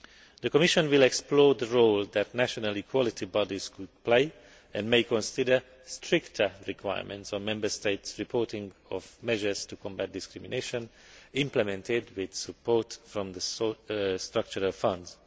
The Commission will explore the role that national equality bodies could play and may consider stricter requirements on Member States' reporting of measures to combat discrimination, implemented with support from the structural funds.